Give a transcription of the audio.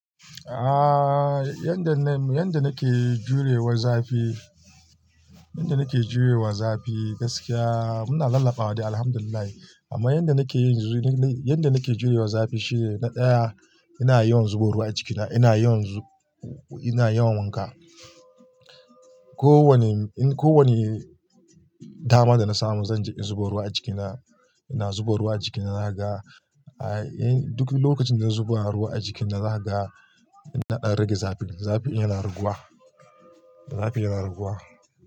Ah, yadda na, yadda nake jurewa zafi, yadda nake jurewa zafi gaskiya muna lallafa da alhamdulillah. Amma yadda nake yi yanzu ne, yadda nake jurewa zafi shine na ɗaya ina yawan zuba ruwa a jikina, ina yawan zu-- ina yawan wanka. Ko wani, in ko wani dama dana samu zan je in zuba ruwa a jikina. Ina zuba ruwa a jikina naga, ah, duk lokacin da na zuba ruwa a jikina, zaga na ɗan rage zafin. Zafin yana raguwa, zafin yana raguwa.